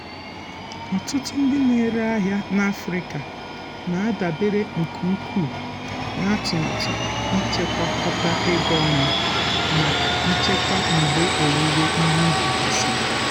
ọtụtụ ndị na-ere ahịa na afrịka na-adabere nke ukwuu na atụmatụ ichekwakọta ego ọnụ maka nchekwa mgbe owuwe ihe ubi gasịrị.